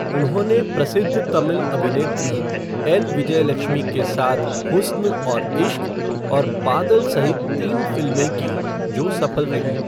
उन्होंने प्रसिद्ध तमिल अभिनेत्री एल. विजयलक्ष्मी के साथ हुस्न और इश्क और बादल सहित तीन फिल्में की, जो सफल रहीं।